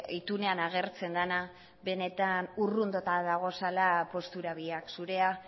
itunean agertzen dena benetan urrunduta daudela postura biak zurea